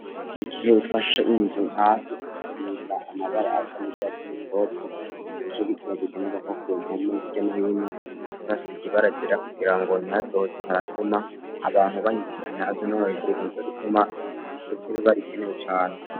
Mu gihe ufashe inzu hasi, ugasiga amabara asa n'urwatsi rutoto, nico gituma bikenerwa ko ku mpome hirya no hino, uca uhasiga ibara ryera kugira ngo ntihazoze haratuma abantu bahitiranya hasi no hejuru, nico gituma gusiga ibara biba bikenewe cane.